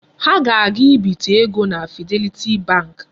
Ha ga-aga ibite ego na Fidelity bank.